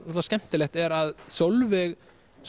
skemmtilegt er að Sólveig